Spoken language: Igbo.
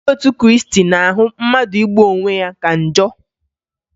Ndị otu Kriisti na-ahụ mmadụ igbu onwe ya ka njọ